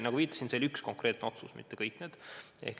Nagu viitasin, oli see üks konkreetne otsus, mitte kõik otsused.